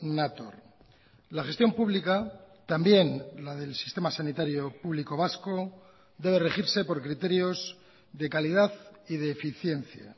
nator la gestión pública también la del sistema sanitario público vasco debe regirse por criterios de calidad y de eficiencia